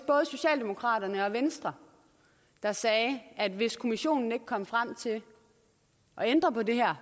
var socialdemokraterne og venstre der sagde at hvis kommissionen ikke kom frem til at ændre på det her